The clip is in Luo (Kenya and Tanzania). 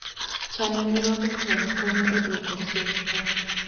Chano nyirombe chon konyo e dwoko chien tho.